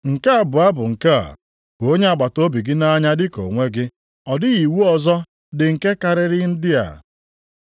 Nke abụọ ya bụ nke a, ‘Hụ onye agbataobi gị nʼanya dị ka onwe gị.’ + 12:31 \+xt Lev 19:18\+xt* Ọ dịghị iwu ọzọ dị nke karịrị ndị a.”